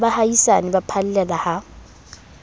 le baahisane ba phallela ha